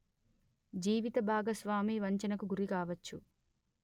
జీవిత భాగస్వామి వంచనకు గురి కావచ్చు